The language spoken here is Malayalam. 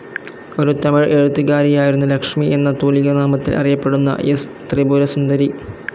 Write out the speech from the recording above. ഒരു തമിഴ് എഴുത്തുകാരിയായിരുന്നു ലക്ഷ്മി എന്ന തൂലികാനാമത്തിൽ അറിയപ്പെടുന്ന എസ്. ത്രിപുരസുന്ദരി.